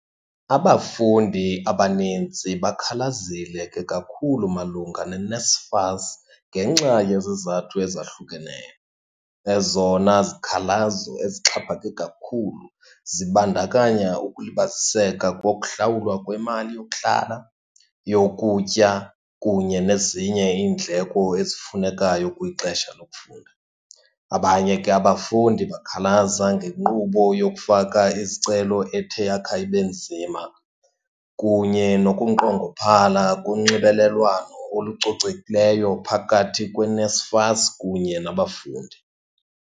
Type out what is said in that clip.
Abafundi abanintsi bakhalazile ke kakhulu malunga neNSFAS ngenxa yezizathu ezahlukeneyo. Ezona zikhalazo ezixhaphake kakhulu zibandakanya ukulibaziseka kokuhlawulwa kwemali yokuhlala, yokutya, kunye nezinye iindleko ezifunekayo kwixesha lokufunda. Abanye ke abafundi bakhalaza ngenkqubo yokufaka izicelo ethe yakha ibe nzima, kunye nokunqongophala konxibelelwano olucocekileyo phakathi kweNSFAS kunye nabafundi.